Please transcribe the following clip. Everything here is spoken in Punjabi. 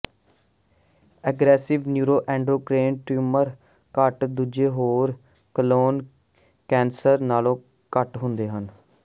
ਅਗਰੈਸਿਵ ਨਯੂਰੋਐਂਡਰੋਕ੍ਰੇਨ ਟਿਊਮਰ ਘੱਟ ਦੂਜੇ ਹੋਰ ਕੋਲੋਨ ਕੈਂਸਰ ਨਾਲੋਂ ਘੱਟ ਹੁੰਦੇ ਹਨ